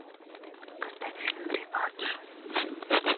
поставь фильм реванш